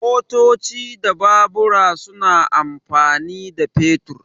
Motoci da Babura suna amfani da fetur.